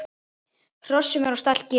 Hrossum er á stall gefið.